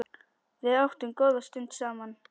Við áttum góða stund saman.